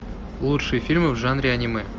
лучшие фильмы в жанре аниме